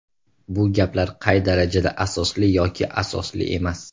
Bu gaplar qay darajada asosli yoki asosli emas?